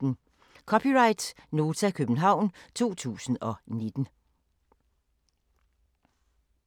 (c) Nota, København 2019